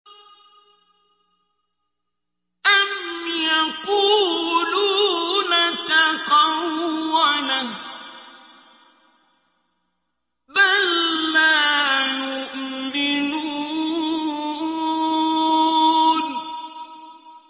أَمْ يَقُولُونَ تَقَوَّلَهُ ۚ بَل لَّا يُؤْمِنُونَ